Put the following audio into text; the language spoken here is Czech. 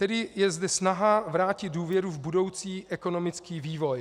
Tedy je zde snaha vrátit důvěru v budoucí ekonomický vývoj.